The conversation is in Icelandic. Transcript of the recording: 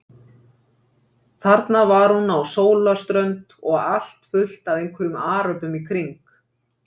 Þarna var hún á sólarströnd og allt fullt af einhverjum aröbum í kring.